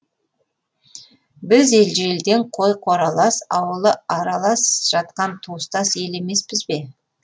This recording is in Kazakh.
біз ежелден қойы қоралас ауылы аралас жатқан туыстас ел емеспіз бе